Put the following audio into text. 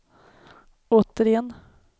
återigen